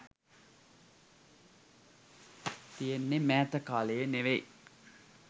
තියෙන්නෙ මෑත කාලයේ නෙවෙයි